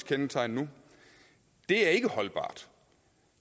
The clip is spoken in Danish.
kendetegn nu er ikke holdbart